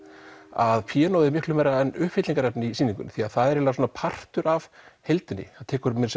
að píanóið er miklu meira en uppfyllingarefni í sýningunni því það er eiginlega partur af heildinni það tekur meira